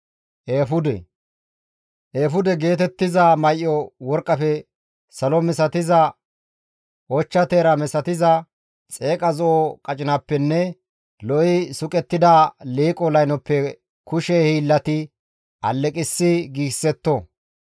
«Eefude geetettiza may7o worqqafe, salo misatiza, ochcha teera misatizaa, xeeqa zo7o qacinappenne lo7i suqettida liiqo laynoppe kushe hiillati alleqissi giigsetto.